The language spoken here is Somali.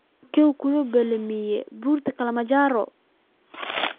Halkee buu ka bilaabmaa Buurta Kilimanjaro?